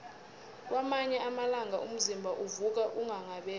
kwamanye amalanga umzimba uvuka unghanghabele